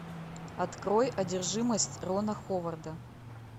открой одержимость рона ховарда